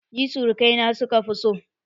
Ni surukai na suka fi so